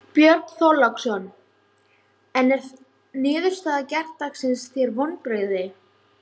Björn Þorláksson: En er niðurstaða gærdagsins þér vonbrigði?